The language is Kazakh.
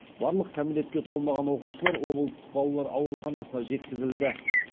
барлық кәмелетке толмаған оқушылар облыстық балалар ауруханасына жеткізілді